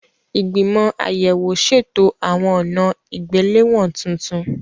Ìgbìmọ̀ àyẹ̀wò ṣètò àwọn ọ̀nà ìgbéléwọ̀n tuntun.